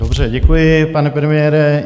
Dobře, děkuji, pane premiére.